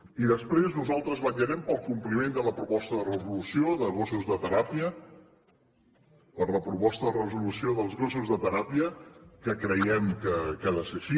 i després nosaltres vetllarem pel compliment de la proposta de resolució de gossos de teràpia de la proposta de resolució dels gossos de teràpia que creiem que ha de ser així